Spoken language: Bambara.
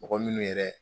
Mɔgɔ minnu yɛrɛ